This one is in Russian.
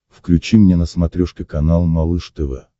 включи мне на смотрешке канал малыш тв